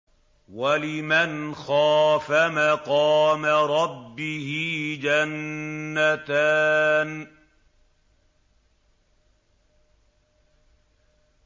وَلِمَنْ خَافَ مَقَامَ رَبِّهِ جَنَّتَانِ